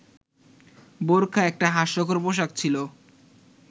বোরখা একটা হাস্যকর পোশাক ছিল